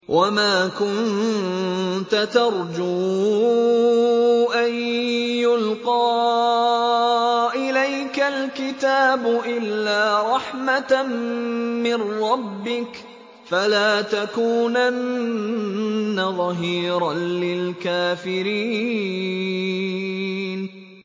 وَمَا كُنتَ تَرْجُو أَن يُلْقَىٰ إِلَيْكَ الْكِتَابُ إِلَّا رَحْمَةً مِّن رَّبِّكَ ۖ فَلَا تَكُونَنَّ ظَهِيرًا لِّلْكَافِرِينَ